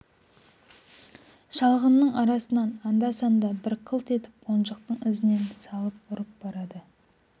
шалғынның арасынан анда-санда бір қылт етіп қонжықтың ізінен салып ұрып барады